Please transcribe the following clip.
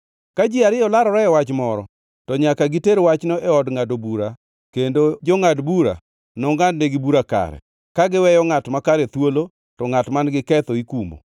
Ka ji ariyo larore e wach moro, to nyaka giter wachno e od ngʼado bura kendo jongʼad bura nongʼadnegi bura kare, ka giweyo ngʼat makare thuolo to ngʼat man giketho ikumo.